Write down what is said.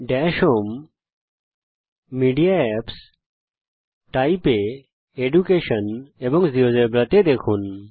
Das home জিটিজিটিমিডিয়া এপিপিএসজিটিটাইপ এর মধ্যে জিটিজিটি এডুকেশন নির্বাচন করুন জিটিজিটি এবং জীয়োজেব্রা দেখুন